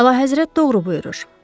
Əlahəzrət doğru buyurur.